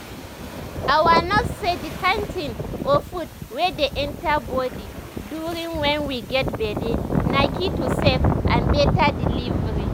our nurse say the kind thing or food wey dey enter body during wen we get belle na key to safe and better delivery